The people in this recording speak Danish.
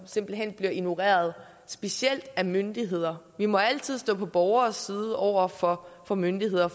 simpelt hen bliver ignoreret specielt af myndigheder vi må altid stå på borgernes side over for for myndigheder